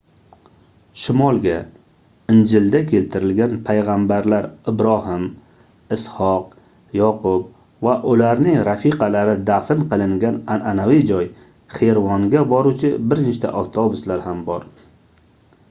shimolga injilda keltirilgan paygʻambarlar ibrohim isʼhoq yoqub va ularning rafiqalari dafn qilingan anʼanaviy joy xervonga boruvchi bir nechta avtobuslar ham bor